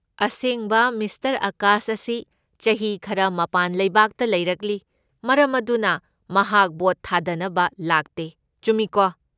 ꯑꯁꯦꯡꯕ ꯃꯤꯁꯇꯔ ꯑꯥꯀꯥꯁ ꯑꯁꯤ ꯆꯍꯤ ꯈꯔ ꯃꯄꯥꯟ ꯂꯩꯕꯥꯛꯇ ꯂꯩꯔꯛꯂꯤ, ꯃꯔꯝ ꯑꯗꯨꯅ ꯃꯍꯥꯛ ꯚꯣꯠ ꯊꯥꯗꯅꯕ ꯂꯥꯛꯇꯦ, ꯆꯨꯝꯃꯤꯀꯣ?